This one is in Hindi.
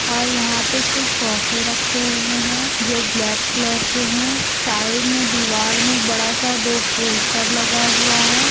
और यहां पे कुछ सोफे रखे हुए है जो ब्लैक कलर के है साइड में दीवाल में बड़ा सा दो पोस्टर लगा हुआ है।